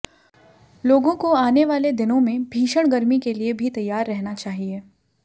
लोगों को आने वाले दिनों में भीषण गर्मी के लिए भी तैयार रहना चाहिए